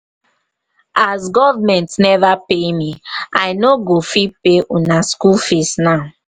as government neva pay me i no go fit pay una skool fees now.